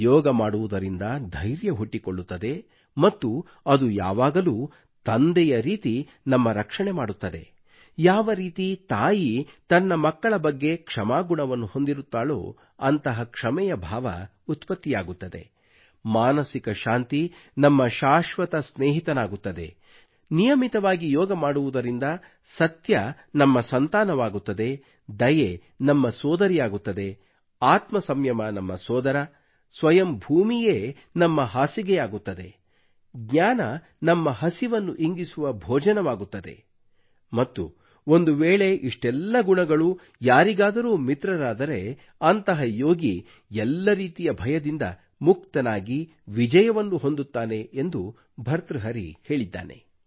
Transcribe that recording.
ಯೋಗ ಮಾಡುವುದರಿಂದ ಧೈರ್ಯ ಹುಟ್ಟಿಕೊಳ್ಳುತ್ತದೆ ಮತ್ತು ಅದು ಯಾವಾಗಲೂ ತಂದೆಯ ರೀತಿ ನಮ್ಮ ರಕ್ಷಣೆ ಮಾಡುತ್ತದೆ ಯಾವರೀತಿ ತಾಯಿಯು ತನ್ನ ಮಕ್ಕಳ ಬಗ್ಗೆ ಕ್ಷಮಾಗುಣವನ್ನು ಹೊಂದಿರುತ್ತಾಳೋ ಅಂತಹ ಕ್ಷಮೆಯ ಭಾವ ಉತ್ಪತ್ತಿಯಾಗುತ್ತದೆ ಮಾನಸಿಕ ಶಾಂತಿ ನಮ್ಮ ಶಾಶ್ವತ ಸ್ನೇಹಿತನಾಗುತ್ತದೆ ನಿಯಮಿತವಾಗಿ ಯೋಗ ಮಾಡುವುದರಿಂದ ಸತ್ಯವು ನಮ್ಮ ಸಂತಾನವಾಗುತ್ತದೆ ದಯೆಯು ನಮ್ಮ ಸೋದರಿಯಾಗುತ್ತದೆ ಆತ್ಮ ಸಂಯಮ ನಮ್ಮ ಸೋದರ ಸ್ವಯಂ ಭೂಮಿಯೇ ನಮ್ಮ ಹಾಸಿಗೆಯಾಗುತ್ತದೆ ಜ್ಞಾನವು ನಮ್ಮ ಹಸಿವನ್ನು ಇಂಗಿಸುವ ಭೋಜನವಾಗುತ್ತದೆ ಮತ್ತು ಒಂದುವೇಳೆ ಇಷ್ಟೆಲ್ಲಾ ಗುಣಗಳು ಯಾರಿಗಾದರೂ ಮಿತ್ರರಾದರೆ ಅಂತಹ ಯೋಗಿಯು ಎಲ್ಲಾ ರೀತಿಯ ಭಯದಿಂದ ಮುಕ್ತನಾಗಿ ವಿಜಯವನ್ನು ಹೊಂದುತ್ತಾನೆ ಎಂದು ಭರ್ತೃಹರಿಯು ಹೇಳಿದ್ದಾನೆ